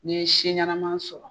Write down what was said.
N'l ye siɲɛma sɔrɔ.